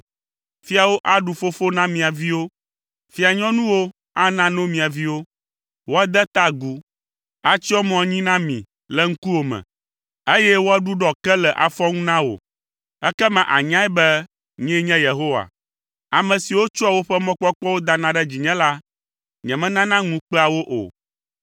Fiawo aɖu fofo na mia viwo, fia nyɔnuwo ana no mia viwo. Woade ta agu, atsyɔ mo anyi na mi le ŋkuwò me, eye woaɖuɖɔ ke le afɔŋu na wò. Ekema ànyae be nyee nye Yehowa, ame siwo tsɔa woƒe mɔkpɔkpɔwo dana ɖe dzinye la, nyemenana ŋu kpea wo o.”